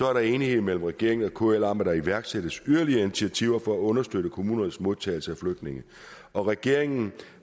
er der enighed mellem regeringen og kl om at der skal iværksættes yderligere initiativer for at understøtte kommunernes modtagelse af flygtninge og regeringen